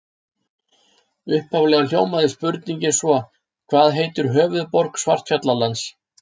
Upphaflega hljómaði spurningin svo: Hvað heitir höfuðborg Svartfjallalands?